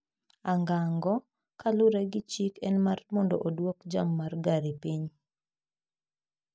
angango, kalure gi chik en mar mondo oduok jam mar gari piny.